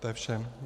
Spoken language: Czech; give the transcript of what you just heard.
To je vše.